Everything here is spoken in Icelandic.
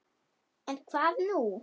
En hvað nú?